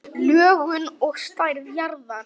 Lögun og stærð jarðar